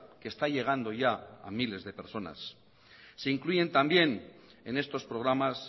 que está llegando ya a miles de personas se incluyen también enestos programas